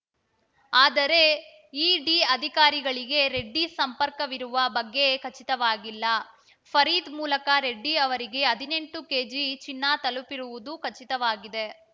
ಆದರೆ ಇಡಿ ಅಧಿಕಾರಿಗಳಿಗೆ ರೆಡ್ಡಿ ಸಂಪರ್ಕವಿರುವ ಬಗ್ಗೆ ಖಚಿತವಾಗಿಲ್ಲ ಫರೀದ್‌ ಮೂಲಕ ರೆಡ್ಡಿ ಅವರಿಗೆ ಹದಿನೆಂಟು ಕೆಜಿ ಚಿನ್ನ ತಲುಪಿರುವುದು ಖಚಿತವಾಗಿದೆ